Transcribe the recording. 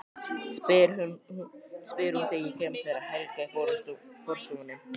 spyr hún þegar ég kem til þeirra Helga í forstofunni.